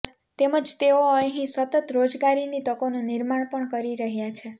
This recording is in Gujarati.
તેમજ તેઓ અહીં સતત રોજગારીની તકોનું નિર્માણ પણ કરી રહયા છે